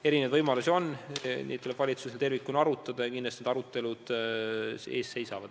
Erinevaid võimalusi on, neid tuleb valitsusel tervikuna arutada ja kindlasti need arutelud ees seisavad.